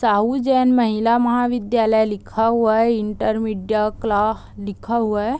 साहू जैन महिला महाविद्यालय लिखा हुआ है इण्टरमीडिएट कला लिखा हुआ है ।